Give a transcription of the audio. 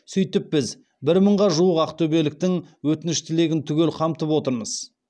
сөйтіп біз бір мыңға жуық ақтөбеліктің өтініш тілегін түгел қамтып отырмыз